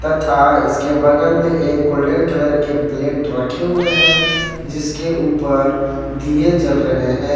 तथा इसके बगल में एक गोल्डन कलर के प्लेट रखें हुए हैं जिसके ऊपर दिए जल रहे हैं।